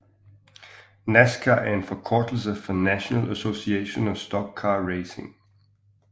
NASCAR er en forkortelse for National Association of Stock Car Racing